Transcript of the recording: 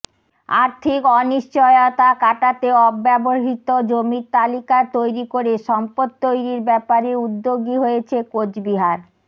আর্থিক অনিশ্চয়তা কাটাতে অব্যবহৃত জমির তালিকা তৈরি করে সম্পদ তৈরির ব্যাপারে উদ্যোগী হয়েছে কোচবিহার